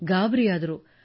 ಗಾಬರಿಯಾದರು